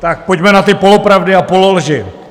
Tak pojďme na ty polopravdy a pololži.